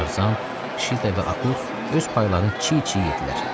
Tarzan, Şita və Akut öz paylarını çiy-çiy yedilər.